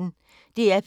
DR P1